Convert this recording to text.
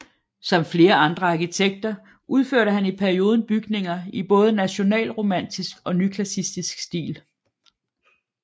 Som flere andre arkitekter udførte han i perioden bygninger i både nationalromantisk og nyklassicistisk stil